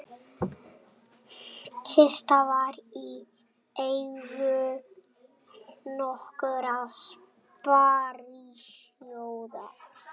Kista var í eigu nokkurra sparisjóða